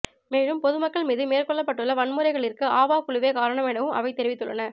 மேலும் பொதுமக்கள் மீது மேற்கொள்ளப்பட்டுள்ள வன்முறைகளிற்கு ஆவா குழுவே காரணம் எனவும் அவை தெரிவித்துள்ளன